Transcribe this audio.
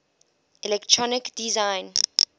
electronic design